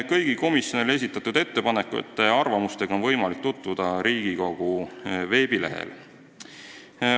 Kõigi komisjonile esitatud ettepanekute ja arvamustega on võimalik tutvuda Riigikogu veebilehel.